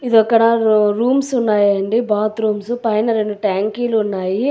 ఇదక్కడ rooms ఉన్నాయండి bathrooms . పైన రెండు ట్యాంకీలు ఉన్నాయి.